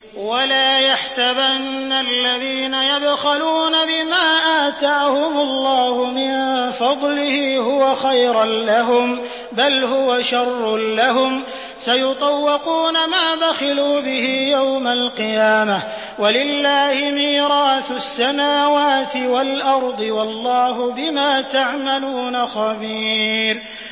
وَلَا يَحْسَبَنَّ الَّذِينَ يَبْخَلُونَ بِمَا آتَاهُمُ اللَّهُ مِن فَضْلِهِ هُوَ خَيْرًا لَّهُم ۖ بَلْ هُوَ شَرٌّ لَّهُمْ ۖ سَيُطَوَّقُونَ مَا بَخِلُوا بِهِ يَوْمَ الْقِيَامَةِ ۗ وَلِلَّهِ مِيرَاثُ السَّمَاوَاتِ وَالْأَرْضِ ۗ وَاللَّهُ بِمَا تَعْمَلُونَ خَبِيرٌ